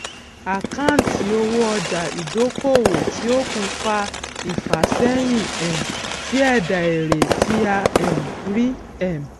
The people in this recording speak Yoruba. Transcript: àkáǹtì owó ọjà ìdókòwò tí ó kù fa ìfàséyìn um sí èdà èrè tí a um rí um